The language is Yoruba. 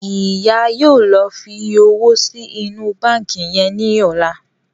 Ìyá yóò ló fí òwò sí inú bánkì yén ní ọlá.